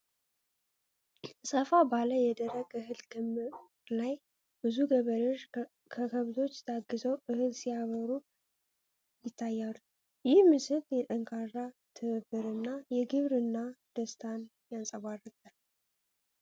ሰፋ ባለ የደረቀ እህል ክምር ላይ ብዙ ገበሬዎች በከብቶች ታግዘው እህል ሲያበሩ ይታያሉ። ይህ ምስል የጠንካራ ትብብር እና የግብርና ደስታን ያንፀባርቃል።